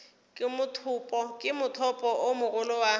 ke mothopo o mogolo wa